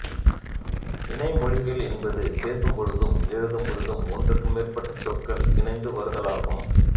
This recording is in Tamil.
இணை மொழிகள் என்பது பேசும்பொழுதும் எழுதும்பொழுதும் ஒன்றுக்கு மேற்பட்ட சொற்கள் இணைந்து வருதலாகும்